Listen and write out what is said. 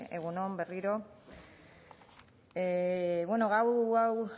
egun on berriro bueno gai hau